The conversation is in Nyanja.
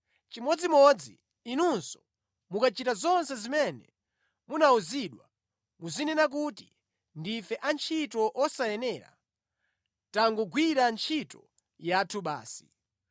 Chimodzimodzi inunso, mukachita zonse zimene munawuzidwa, muzinena kuti, ‘Ndife antchito osayenera; tangogwira ntchito yathu basi.’ ”